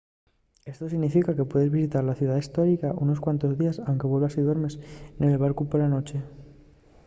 esto significa que puedes visitar la ciudá hestórica nunos cuantos díes anque vuelvas y duermas nel barcu pela nueche